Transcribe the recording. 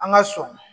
An ka sɔn